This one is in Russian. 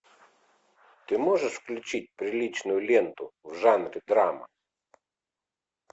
ты можешь включить приличную ленту в жанре драма